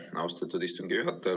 Aitäh, austatud istungi juhataja!